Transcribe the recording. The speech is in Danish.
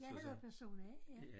Jeg hedder person A ja